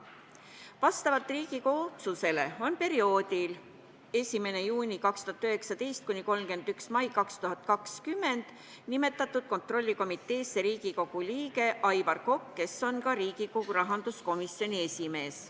Vastavalt Riigikogu otsusele on perioodiks 1. juuni 2019 kuni 31. mai 2020 nimetatud kontrollkomiteesse Riigikogu liige Aivar Kokk, kes on ka Riigikogu rahanduskomisjoni esimees.